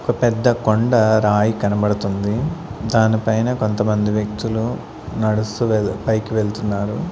ఒక పెద్ద కొండ రాయి కనబడుతుంది దానిపైన కొంతమంది వ్యక్తులు నడుస్తు వెల్-- పైకి వెళ్తున్నారు.